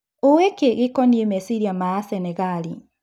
"ũĩ-kĩ gĩkoniĩ meciria ma-Asenegali ?